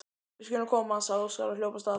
Við skulum koma, sagði Óskar og hljóp af stað.